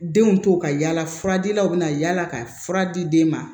Denw to ka yaala fura dilaw bɛ na yala ka fura di den ma